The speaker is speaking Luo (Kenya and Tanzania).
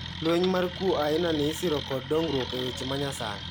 Lweny mar kuo aina ni isiro kod dongruok e weche manyasani.